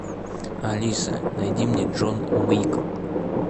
алиса найди мне джон уик